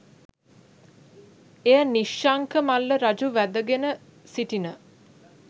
එය නිශ්ශංක මල්ල රජු වැදගෙන සිටින